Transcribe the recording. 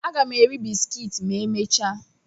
Aga m eri bisikiiti ma emechaa.